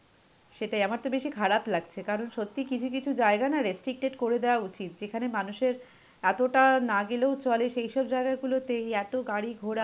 সেটাই, আমার তো বেশি খারাপ লাগছে. কারণ সত্যিই কিছু কিছু জায়গা না restricted করে দেওয় উচিত. যেখানে মানুষের এতটা না গেলেও চলে. সেইসব জায়গাগুলোতে এত গাড়ি ঘোড়া.